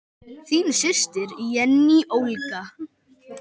Þín systir, Jenný Olga.